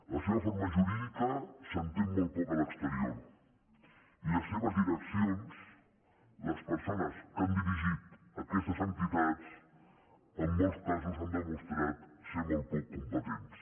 la seva forma jurídi·ca s’entén molt poc a l’exterior i les seves direccions les persones que han dirigit aquestes entitats en molts casos han demostrat ser molt poc competents